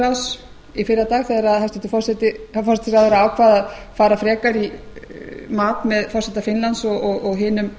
norðurlandaráðs í fyrradag þegar hæstvirtur forsætisráðherra ákvað að fara frekar í mat með forseta finnlands og hinum